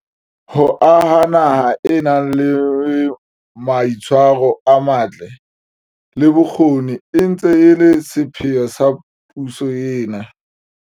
Ho aha naha e nang le mai tshwaro a matle, le bokgoni e ntse e le sepheo sa puso ena.